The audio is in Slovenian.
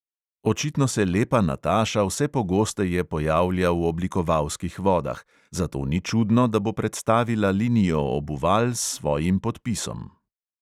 Očitno se lepa nataša vse pogosteje pojavlja v oblikovalskih vodah, zato ni čudno, da bo predstavila linijo obuval s svojim podpisom.